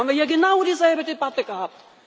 Da haben wir hier genau dieselbe Debatte gehabt!